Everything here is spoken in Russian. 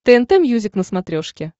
тнт мьюзик на смотрешке